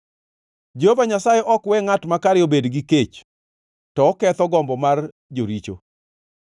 Jehova Nyasaye ok we ngʼat makare obed gi kech, to oketho gombo mar joricho.